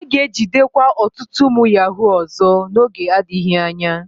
A ga-ejidekwa ọtụtụ ụmụ yahuu ọzọ n'oge adịghị anya.